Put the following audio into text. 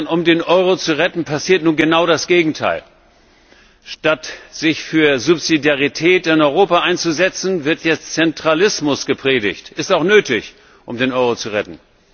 Um den Euro zu retten, passiert nun genau das Gegenteil Statt sich für Subsidiarität in Europa einzusetzen, wird jetzt Zentralismus gepredigt ist auch nötig, um den Euro zu retten.